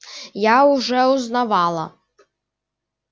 я уже узнавала